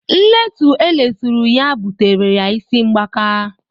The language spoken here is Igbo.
Nletu eleturu ya bụtara ya isi mbaka.